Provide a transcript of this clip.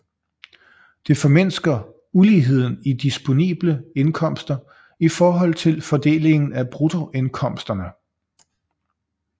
Det formindsker uligheden i disponible indkomster i forhold til fordelingen af bruttoindkomsterne